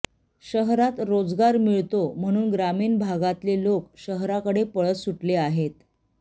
शहरात रोजगार मिळतो म्हणून ग्रामीण भागातले लोक शहराकडे पळत सुटले आहेत